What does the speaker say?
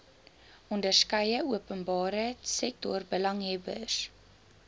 onderskeie openbare sektorbelanghebbers